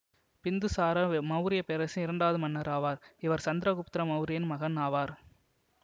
பிந்துசாரர் மௌரிய பேரரசின் இரண்டாவது மன்னர் ஆவார் இவர் சந்திரகுப்தர மௌரியரின் மகன் ஆவார்